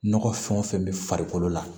Nɔgɔ fɛn o fɛn bɛ farikolo la